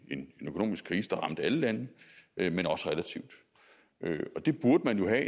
en økonomisk krise der ramte alle lande men også relativt og det burde man jo gøre